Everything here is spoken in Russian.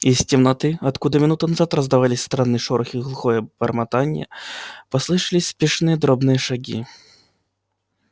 из темноты откуда минуту назад раздавались странный шорох и глухое бормотание послышались спешные дробные шаги